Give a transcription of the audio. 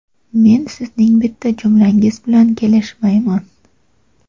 Men sizning bitta jumlangiz bilan kelishmayman.